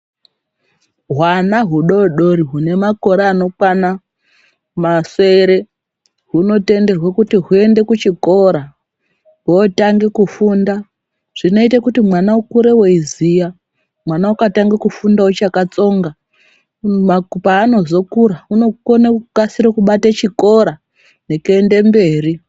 Hwana hudoodori hune makore anokwana masere hunotenderwe kuti huende kuchikora hwotange kufunda zvinoite kuti mwana ukure weiziya mwana ukatange kufunda uchakatsonga paanozokura unokone kukasire kubata chikora nekuenda mberi .